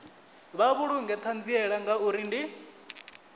vha vhulunge ṱhanziela ngauri ndi